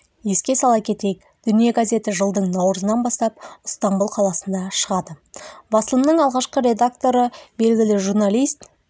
еске сала кетейік дүния газеті жылдың наурызынан бастап ыстанбұл қаласында шығады басылымның алғашқы редакторы белгілі журналист